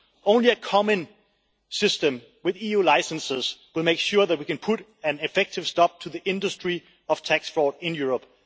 Only a common system with EU licences will make sure that we can put an effective stop to the industry of tax fraud in Europe.